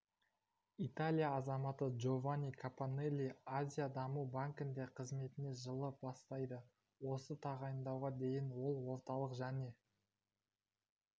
италия азаматы джованни капаннелли азия даму банкінде қызметін жылы бастайды осы тағайындауға дейін ол орталық және